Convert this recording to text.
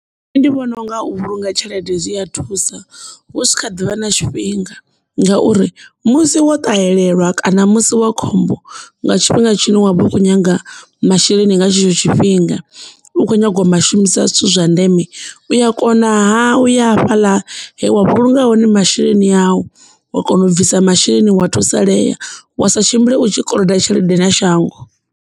Nṋe ndi vhona unga u vhulunga tshelede zwi a thusa u tshi kha ḓivha na tshifhinga ngauri musi wo ṱahelelwa kana musi wa khombo nga tshifhinga tshine wavha u kho nyaga masheleni nga tshetsho tshifhinga u kho nyaga u a shumisa zwithu zwa ndeme u ya kona u ya fhaḽa he wa vhulunga hone masheleni au wa kona u bvisa masheleni wa thusalea wa sa tshimbile u tshi koloda tshelede na shango.